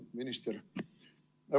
Minister!